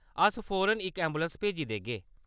अस फौरन इक ऐंबुलैंस भेजी देगे।